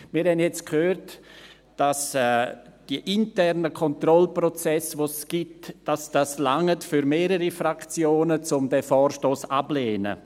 Wir haben jetzt gehört, dass die internen Kontrollprozesse, die es gibt, für mehrere Fraktionen ausreichen, um den Vorstoss abzulehnen.